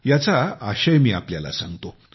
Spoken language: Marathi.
याचा आशय मी आपल्याला सांगतो